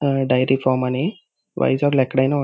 dairy farm అని వైజాగ్ లో ఎక్కడైనా --